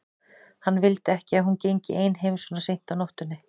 Hann vildi ekki að hún gengi ein heim svona seint á nóttunni.